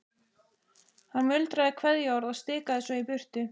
Hann muldraði kveðjuorð og stikaði svo í burtu.